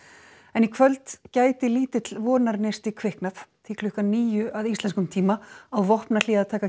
en í kvöld gæti lítill vonarneisti kviknað því klukkan níu að íslenskum tíma á vopnahlé að taka